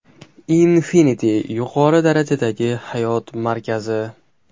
Infinity yuqori darajadagi hayot markazi!.